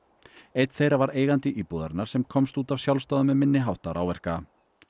einn þeirra var eigandi íbúðarinnar sem komst út af sjálfsdáðum með minni háttar áverka